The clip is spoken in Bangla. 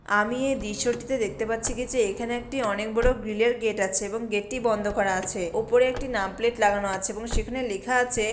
আমি এ দৃশ্যটিতে দেখতে পাচ্ছি কি যে এখানে একটি অনেক বড়ো গ্রিল -এর গেট আছে এবং গেট টি বন্ধ করা আছে । ওপরে একটি নাম প্লেট লাগানো আছে এবং সেখানে লেখা আছে--